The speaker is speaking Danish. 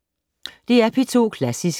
DR P2 Klassisk